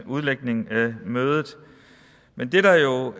udlægning af mødet men det der jo